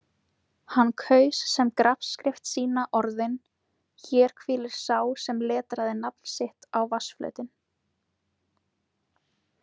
Hann kaus sem grafskrift sína orðin: Hér hvílir sá sem letraði nafn sitt á vatnsflötinn.